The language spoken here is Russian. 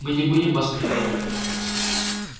мы не будем вас прерывать